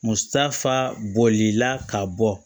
Musa fa bolila ka bɔ